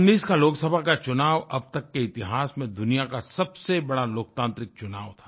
2019 का लोकसभा का चुनाव अब तक के इतिहास में दुनिया का सबसे बड़ा लोकतांत्रिक चुनाव था